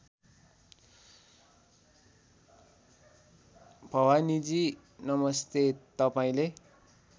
भवानीजी नमस्ते तपाईँले